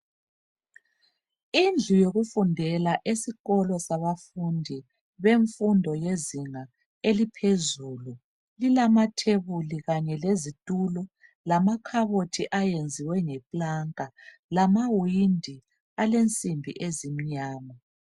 Indlu yokufundela esikolo sabafundi bemfundo lezinga eliphezulu lilama thebuli kanye lezitulo lamakhabothi ayenziwe nge planka lamawindi alensimbi ezimnyama.